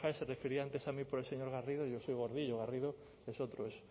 se refería antes a mí por el señor garrido yo soy gordillo garrido es otro es